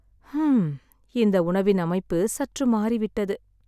ஹ்ம்ம், இந்த உணவின் அமைப்பு சற்று மாறிவிட்டது.